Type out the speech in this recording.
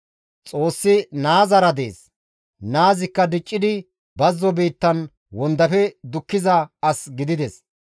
Xoossi naazara dees; naazikka diccidi bazzo biittan wondafe dukkiza as gidides.